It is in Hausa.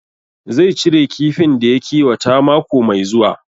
Zai cire kifin da ya kiwata mako mai zuwa